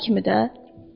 Başqaları kimi də.